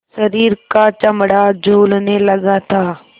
शरीर का चमड़ा झूलने लगा था